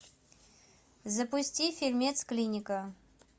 запусти фильмец клиника